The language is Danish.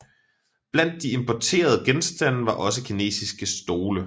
Blandt de importerede genstande var også kinesiske stole